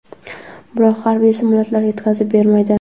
biroq harbiy samolyotlar yetkazib bermaydi.